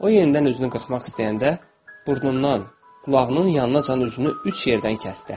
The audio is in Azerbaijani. O yenidən üzünü qırxmaq istəyəndə, burnundan qulağının yanınacan üzünü üç yerdən kəsdi.